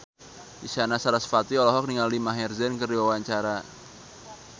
Isyana Sarasvati olohok ningali Maher Zein keur diwawancara